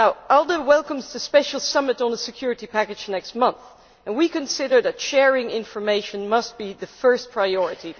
ALDE welcomes the special summit on the security package next month, and we consider that sharing information must be the first priority.